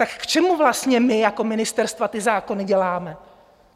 Tak k čemu vlastně my jako ministerstva ty zákony děláme?